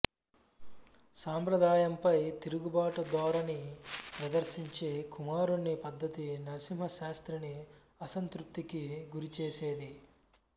సంప్రదాయంపై తిరుగుబాటు ధోరణి ప్రదర్శించే కుమారుని పద్ధతి నరసింహ శాస్త్రిని అసంతృప్తికి గురిచేసేది